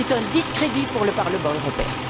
C'est un discrédit pour le Parlement européen.